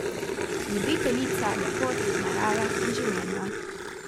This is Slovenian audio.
Ljubiteljica lepot narave in življenja.